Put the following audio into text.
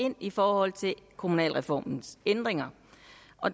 ind i forhold til kommunalreformens ændringer